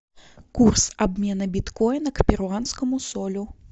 курс обмена биткоина к перуанскому солю